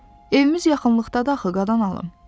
Evimiz yaxınlıqdadır axı, qadan alım.